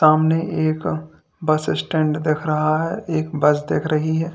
आपने एक bus stand देख रहा है एक बस देख रही है।